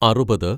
അറുപത്